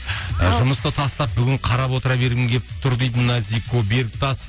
ы жұмысты тастап бүгін қарап отыра бергім келіп тұр дейді назико бектас